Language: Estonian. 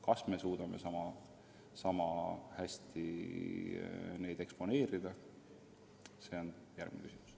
Kas me suudame sama hästi seda kogu eksponeerida, see on iseküsimus.